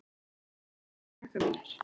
Ég veit það ekki, krakkar mínir.